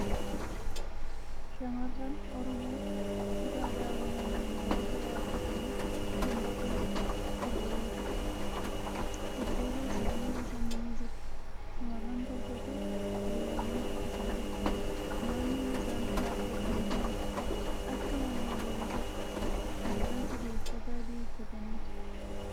Shamarran Oromoo uffata aadaa Oromoo naannawaa Shawaa uffatanii shoboxee sirbaa jiru. Dudduuba isaanii bosonni ni jira. Shamarran torbatu hiriiranii shubbisaa jira. Naannoon isaan dhaabbatanii jiran akka malee magariisadha. Shamarran sadii uffata adii uffataniiru.